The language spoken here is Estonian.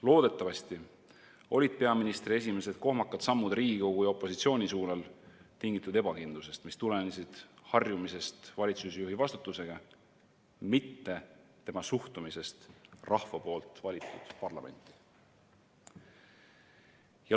Loodetavasti olid peaministri esimesed kohmakad sammud Riigikogu ja opositsiooni suunal tingitud ebakindlusest, mis tulenes sellest, et ta alles harjub valitsusjuhi vastutusega, mitte tema suhtumisest rahva valitud parlamenti.